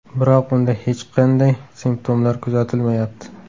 Biroq unda hech qanday simptomlar kuzatilmayapti.